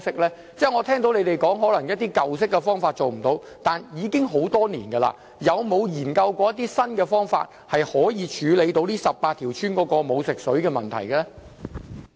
我聽到局長說可能一些舊方法做不到，但已經很多年了，有否研究過一些新方法，可以處理這18條村沒有食水供應的問題？